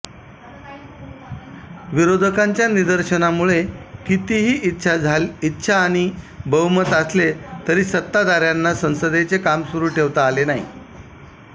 विरोधकांच्या निदर्शनांमुळे कितीही इच्छा आणि बहुमत असले तरी सत्ताधाऱ्यांना संसदेचे काम सुरू ठेवता आले नाही